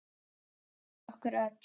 Fyrir okkur öll.